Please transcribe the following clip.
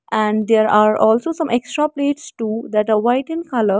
and there are also some extra page too that are white in color.